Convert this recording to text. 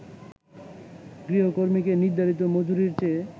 গৃহকর্মীকে নির্ধারিত মজুরির চেয়ে